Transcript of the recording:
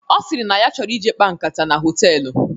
Ọ sịrị na ọ chọrọ ije kpaa nkata na hoteelu